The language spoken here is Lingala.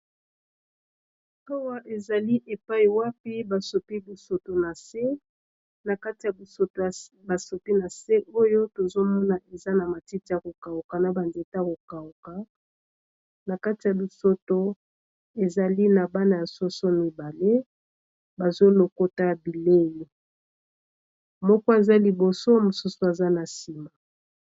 Awa ezali epai wapi basopi Bosoto na se na kati basoto ba sopi na se oyo tozomona eza na matiti ya ko kauka na ba nzete ya ko kauka na kati ya bisoto ezali na bana ya soso mibale bazo lokota bilei moko aza liboso mosusu aza na sima.